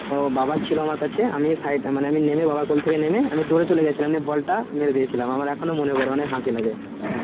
ও বাবা ছিলোনা কাছে আমি বাবার কোল থেকে নেমে দৌড়ে চলে গেছিলাম নিয়ে বলটা মেরে দিয়েছিলাম এখনো মনে পরে নিয়ে অনেক হাসি লাগে